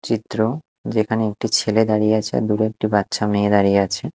চিত্র যেখানে একটি ছেলে দাঁড়িয়ে আছে আর দূরে একটি বাচ্চা মেয়ে দাঁড়িয়ে আছে।